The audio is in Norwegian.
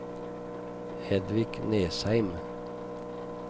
Hedvig Nesheim